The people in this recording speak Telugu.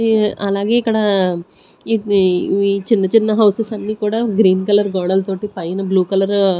ఈ అలాగే ఇక్కడ ఇవ్వి ఇవి చిన్న చిన్న హౌసెస్ అన్నీ కూడా గ్రీన్ కలర్ గోడల్ తోటి పైన బ్లూ కలరు --